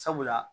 Sabula